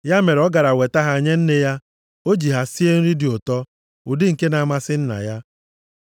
Ya mere, ọ gara weta ha nye nne ya. O ji ha sie nri dị ụtọ, ụdị nke na-amasị nna ya.